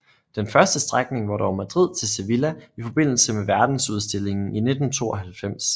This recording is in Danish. Den første strækning var dog Madrid til Sevilla i forbindelse med Verdensudstillingen i 1992